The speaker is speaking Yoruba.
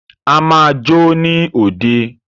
A máa jó ní òde.